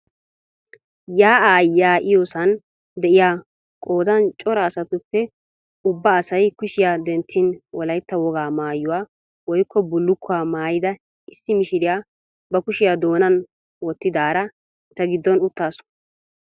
Yaa'aa yaa"iyoosan de"iyaa qoodan cora asatuppe ubba asay kushiya denttin wolaytta wogaa maayuwa woykko bullukkuwaa maayida issi mishiriya ba kushiya doonan wootidaara eta giddon uttaasu.